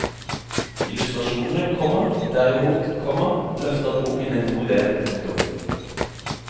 Illustrasjonene, komma derimot, komma løfter boken en god del. punktum